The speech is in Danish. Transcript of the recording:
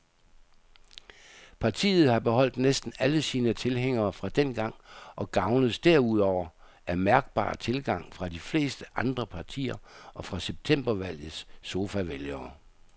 Partiet har beholdt næsten alle sine tilhængere fra dengang og gavnes derudover af mærkbar tilgang fra de fleste andre partier og fra septembervalgets sofavælgere.